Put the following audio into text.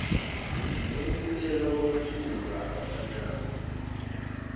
nokwentuleka kwamathuba afanayo